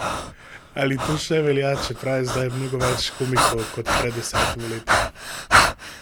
Ali to še velja, čeprav je zdaj mnogo več komikov kot pred desetimi leti?